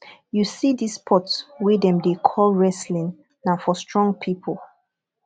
you see this sport wey dem dey call wrestling na for strong people